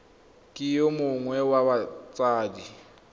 ke yo mongwe wa batsadi